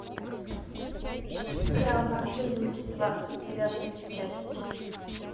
у тебя есть сериал наследники двадцать девятая часть